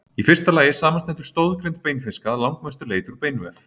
Í fyrsta lagi samanstendur stoðgrind beinfiska að langmestu leyti úr beinvef.